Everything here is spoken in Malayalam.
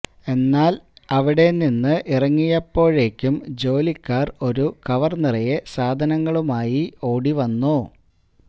എന്നാല് അവിടെ നിന്ന് ഇറങ്ങിയപ്പോഴേക്കും ജോലിക്കാര് ഒരു കവര് നിറയെ സാധനങ്ങളുമായി ഓടി വന്നു